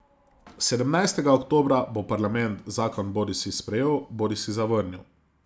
Sedemnajstega oktobra bo parlament zakon bodisi sprejel bodisi zavrnil.